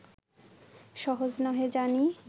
সহজ নহে জানি